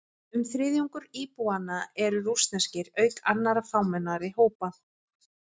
Um þriðjungur íbúanna eru rússneskir, auk annarra fámennari hópa.